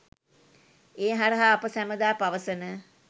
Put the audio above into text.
ඒ හරහා අප සැමදා පවසන